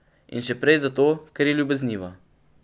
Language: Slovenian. In še prej zato, ker je ljubezniva.